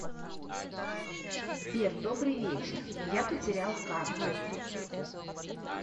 сбер добрый вечер я потерял карту